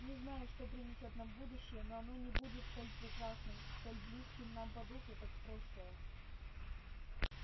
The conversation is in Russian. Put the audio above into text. не знаю что принесёт нам будущее но оно не будет столь прекрасным столь близким нам по духу как прошлое